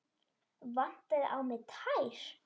Vantaði á mig tær?